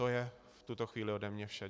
To je v tuto chvíli ode mě vše.